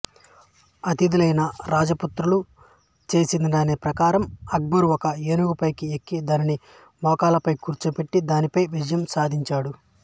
అతిధులైన రాజపుత్రులు చెప్పినదాని ప్రకారం అక్బరు ఒక ఏనుగు పైకి ఎక్కి దానిని మోకాళ్ళపై కూర్చోపెట్టి దానిపై విజయం సాధించాడు